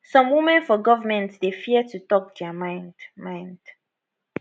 some women for goment dey fear to tok dia mind mind